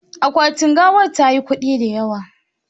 Akwati gawar tayi kudi da yawa